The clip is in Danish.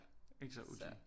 Ikke så O G